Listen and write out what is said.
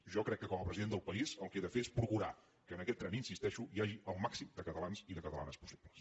jo crec que com a president del país el que he de fer és procurar que en aquest tren hi insisteixo hi hagi el màxim de catalans i de catalanes possible